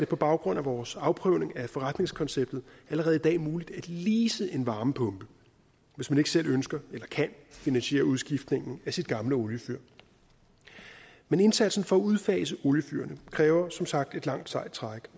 på baggrund af vores afprøvning af forretningskonceptet allerede i dag muligt at lease en varmepumpe hvis man ikke selv ønsker eller kan finansiere udskiftningen af sit gamle oliefyr men indsatsen for at udfase oliefyrene kræver som sagt et langt sejt træk